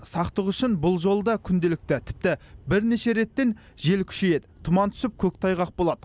сақтық үшін бұл жолы да күнделікті тіпті бернеше реттен жел күшейеді тұман түсіп көктайғақ болады